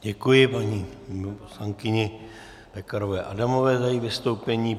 Děkuji paní poslankyni Pekarové Adamové za její vystoupení.